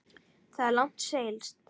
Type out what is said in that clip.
Þar er langt seilst.